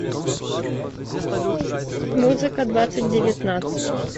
музыка двадцать девятнадцать